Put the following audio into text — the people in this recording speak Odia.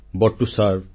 but to serve